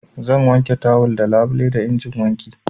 Zan wanke tawal da labule da injin wanki.